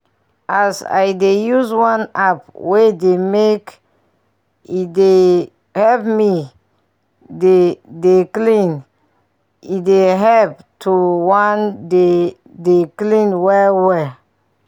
as i dey use one app wey dey make e dey help me dey dey clean e dey help to wan dey dey clean well well